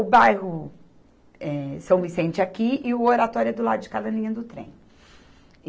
o bairro, eh, São Vicente aqui e o Oratória do lado de cá da linha do Trem.